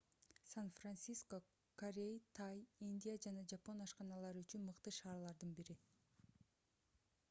сан-франциско корей тай индия жана жапон ашканалары үчүн мыкты шаарлардын бири